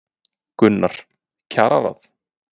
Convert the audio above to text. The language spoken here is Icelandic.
Gunnar: Kjararáð?